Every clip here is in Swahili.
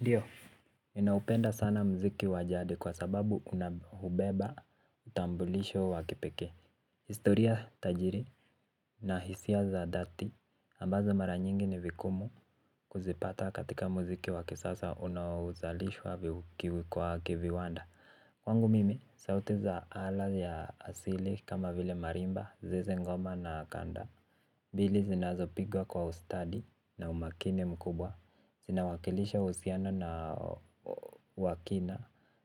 Ndio ninaupenda sana muziki wa jadi kwa sababu una beba utambulisho wa kipekee. Historia tajiri na hisia za dhati ambazo mara nyingi ni vigumu kuzipata katika muziki wa kisasa unaozalishwa kiviwanda. Kwangu mimi, sauti za ala ya asili kama vile marimba, zeze, ngoma na kanda zile zinazopigwa kwa ustadi na umakini mkubwa inawakilisha uhuiano na wa kina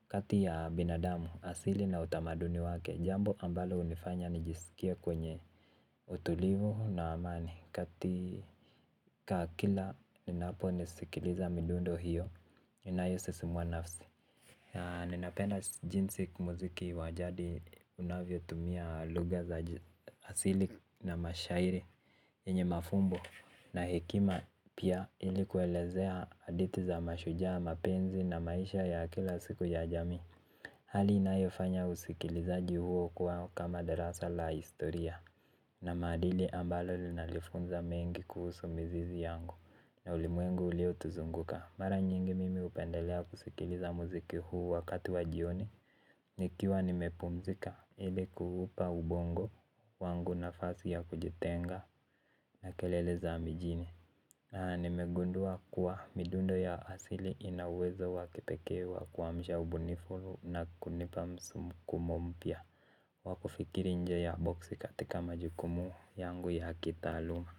kati ya binadamu asili na utamaduni wake. Jambo ambalo hunifanya nijisikie kwenye utulivu na amani katika kila ninaposikiliza midundo hiyo inayo sisimua nafsi. Ninapenda jinsi muziki wajadi unavyotumia lugha za asili na mashairi yenye mafumbo na hekima pia ili kuelezea hadithi za mashujaa mapenzi na maisha ya kila siku ya jamii. Hali inayofanya usikilizaji huo kwa kama darasa la historia na maadili ambalo linanifunza mengi kuhusu mizizi yangu na ulimwengu uliotuzunguka. Mara nyingi mimi hupendelea kusikiliza muziki huu wakati wajioni. Nikiwa nimepumzika ili kuupa ubongo wangu nafasi ya kujitenga na kelele za mijini na nimegundua kuwa midundo ya asili ina uwezo wa kipekee wa kuamsha ubunifu na kunipa msukumo mpya. Wakufikiri nje ya boksi katika majukumu yangu ya kitaaluma.